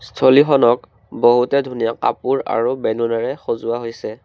স্থলীখনক বহুতে ধুনীয়া কাপোৰ আৰু বেলুনেৰে সজোৱা হৈছে।